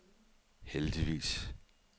heldigvis